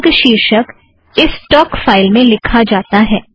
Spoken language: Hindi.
वर्ग शीर्षक इस टोक फ़ाइल में लिखा जाता है